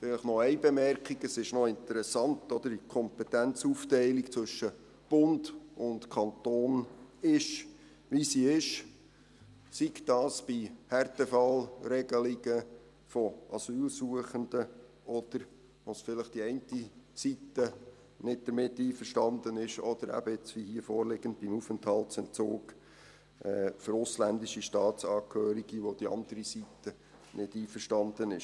Vielleicht noch eine Bemerkung: Es ist interessant, dass die Kompetenzaufteilung zwischen Bund und Kantonen ist, wie sie ist, sei es bei Härtefallregelungen von Asylsuchenden, mit der die eine Seite vielleicht nicht einverstanden ist, oder eben, wie hier vorliegend, beim Aufenthaltsentzug für ausländische Staatsangehörige, mit der die andere Seite nicht einverstanden ist.